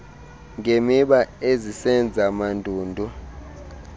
ngemiba ezisenza mandundu